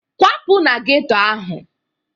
Kwapụ na geto ahụ!